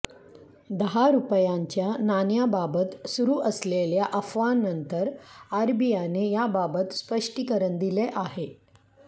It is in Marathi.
दहा रूपयांच्या नाण्याबाबत सुरू असलेल्या अफवांनंतर आरबीआयने याबाबत स्पष्टीकरण दिले आहे